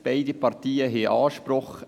Beide Parteien haben einen Anspruch.